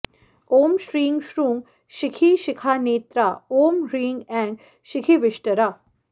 ॐ श्रीं श्रूं शिखिशिखानेत्रा ॐ ह्रीं ऐं शिखिविष्टरा